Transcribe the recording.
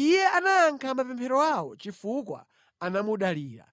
Iye anayankha mapemphero awo chifukwa anamudalira.